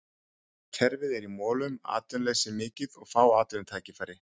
Kerfið er í molum, atvinnuleysi mikið og fá atvinnutækifæri.